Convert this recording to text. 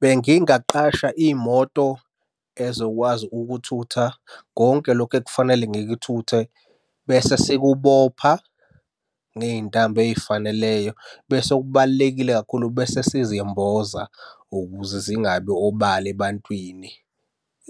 Bengingaqasha imoto ezokwazi ukuthutha konke lokhu ekufanele ngikuthuthe bese sikubopha ngey'ntambo ey'faneleyo. Bese okubalulekile kakhulu bese sizimboza ukuze zingabi obala ebantwini.